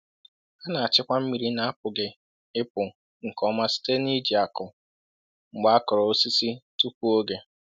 A na-achịkwa mmiri na-apụghị ịpụ nke ọma site n’iji ákụ mgbe a kụrụ osisi tupu oge.